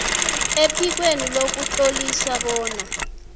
ephikweni lokutlolisa bona